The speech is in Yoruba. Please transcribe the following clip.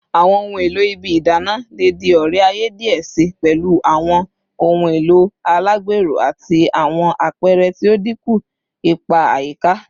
Awọn ohun elo ibi idana le di ore-aye diẹ sii, pẹlu awọn ohun elo alagbero ati awọn apẹrẹ ti o dinku ipa ayika